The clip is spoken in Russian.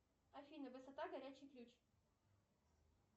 афина высота горячий ключ